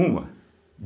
Uma.